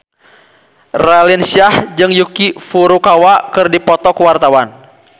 Raline Shah jeung Yuki Furukawa keur dipoto ku wartawan